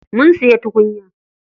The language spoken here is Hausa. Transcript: Mun siya tukunya.